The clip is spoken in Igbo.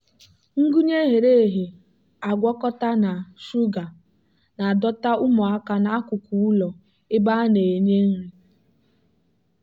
ngwunye ghere eghe agwakọta na shuga na-adọta ụmụaka n'akụkụ ụlọ ebe a na-enye nri.